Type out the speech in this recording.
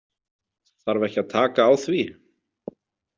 Þarf ekki að taka á því?